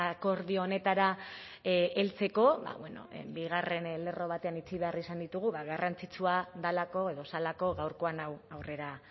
akordio honetara heltzeko bigarren lerro batean utzi behar izan ditugu garrantzitsua delako edo zelako gaurkoan hau aurrera